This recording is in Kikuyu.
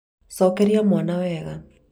cokeria mwana wega